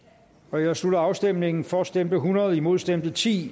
nu jeg slutter afstemningen for stemte hundrede imod stemte ti